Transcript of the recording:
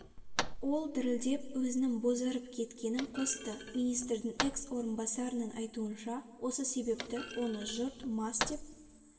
ол дірілдеп өзінің бозарып кеткенін қосты министрдің экс орынбасарының айтуынша осы себепті оны жұрт мас деп